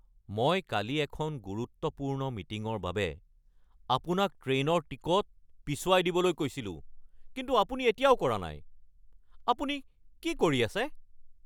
মই কালি এখন গুৰুত্বপূৰ্ণ মিটিঙৰ বাবে আপোনাক ট্ৰেইনৰ টিকট পিছুৱাই দিবলৈ কৈছিলো কিন্তু আপুনি এতিয়াও কৰা নাই, আপুনি কি কৰি আছে?